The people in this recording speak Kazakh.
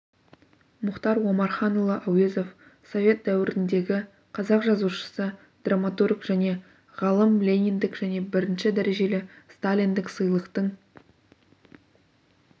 мұхтар омарханұлы әуезов совет дәуіріндегі қазақ жазушысы драматург және ғалым лениндік және бірінші дәрежелі сталиндік сыйлықтың